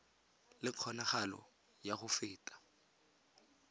le kgonagalo ya go feta